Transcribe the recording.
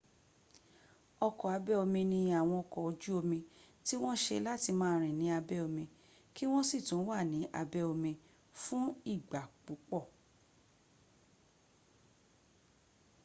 ọkọ̀ abẹ́ omi ni àwọn ọkọ̀ ojú omí tí wọn ṣe láti máa rìn ní abẹ́ omi kí wọ́n sì tún wà ní abẹ́ omí fún ìgbà púpọ̀